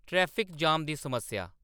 traffic jam दी समस्या